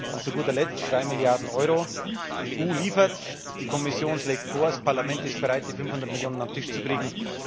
Und zu guter Letzt zu den drei Milliarden Euro Die EU liefert, die Kommission schlägt vor, das Parlament ist bereit, die 500 Millionen auf den Tisch zu kriegen.